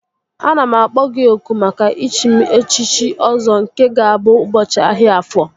Ana m akpọ gị oku maka ichi m echiche Ọzọ nke ga-abụ ụbọchị ahịa Afọ